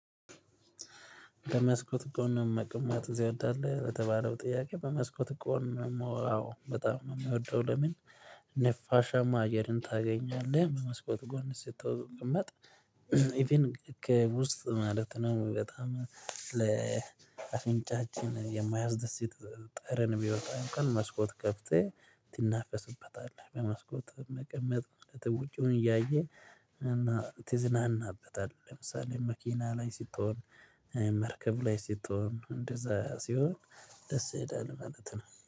በመስኮት ቆንሞ መቅማት እዚህ ይወዳል በተባለው ጥያቄ በመስኮት ቆንሞ አዎ በጣም የሚወደው ለምን? ነፋሻማ አየርን ታገኛለህ በመስኮት ጎን ስትቀመጥ ኢቭን ከውስጥ ማለት ነው። በጣም ለአፍንጫችን የማያ ጠረን የሚወጣ አንኳን መስኮት ከፍተህ ትናፈስበታለህ በመስኮት መቀመጥ መቅመጥ ውጪውን እያየ እና ትዝናናበታለህ። ለምሳሌ መኪና ላይ ስትሆን መርከብ ላይ ስትሆን እንደዛ ሲሆን ደስ ይላል ማለት ነው